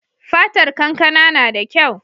Fatar kankana nada kyau